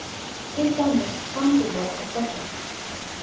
Til dæmis sambýli okkar tveggja.